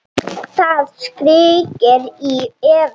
Það skríkir í Evu.